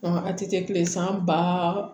a tɛ kɛ kile san ba